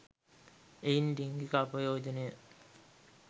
එයින් ලිංගික අපයෝජනය